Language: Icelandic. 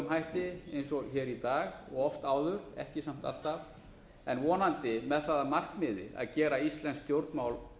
hætti eins og hér í dag og oft áður ekki samt alltaf en vonandi með það að markmiði að gera íslensk stjórnmál